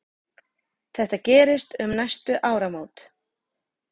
Þetta gerist um næstu áramót.